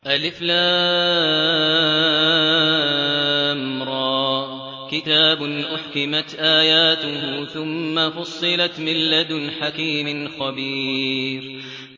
الر ۚ كِتَابٌ أُحْكِمَتْ آيَاتُهُ ثُمَّ فُصِّلَتْ مِن لَّدُنْ حَكِيمٍ خَبِيرٍ